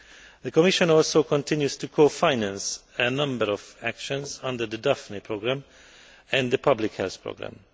The Commission also continues to cofinance a number of actions under the Daphne programme and the public health programme.